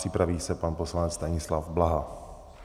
Připraví se pan poslanec Stanislav Blaha.